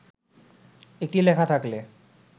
একটি লেখা থাকলে